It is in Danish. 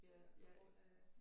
Det må være på grund af